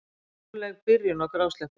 Róleg byrjun á grásleppunni